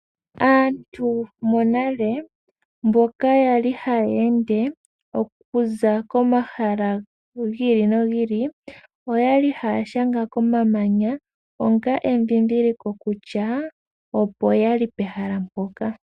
Aantu monale mboka yali hayeende okuza komahala giili nogiili oyali haya shanga komamanya onga endhindhiliko kutya opo yali pomahala mpoka.